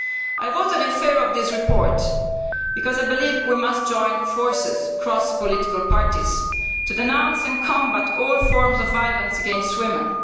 I voted in favour of this report because I believe we must join forces across political parties to denounce and combat all forms of violence against women.